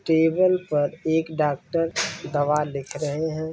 Table पर एक doctor दावा लिख रहे है।